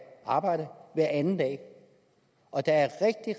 arbejdet hver anden dag og der er